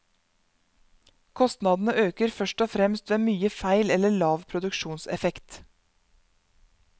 Kostnadene øker først og fremst ved mye feil eller lav produksjonseffekt.